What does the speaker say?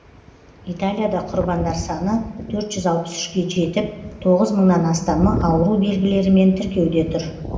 италияда құрбандар саны төрт жүз алпыс үшке жетіп тоғыз мыңнан астамы ауру белгілерімен тіркеуде тұр